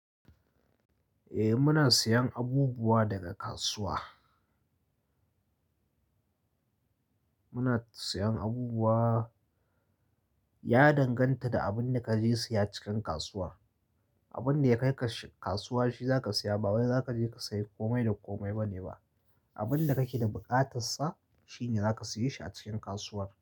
Eh muna siyan abubuwa daga kasuwa. Muna siyan abubuwa Ya danganta da abin da kaje siya cikin kasuwa. Abin da ya kai ka kasuwa shi za ka siya ba wai za kaje ka sayi komai da komai ba ne ba. Abin da kake da buƙatar sa shine zaka siye shi a cikin kasuwar.